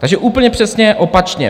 Takže úplně přesně opačně.